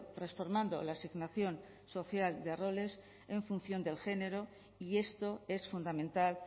transformando la asignación social de roles en función del género y esto es fundamental